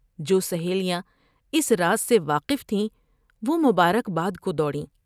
جوسہیلیاں اس راز سے واقف تھیں وہ مبارک بادکو دوڑ یں ۔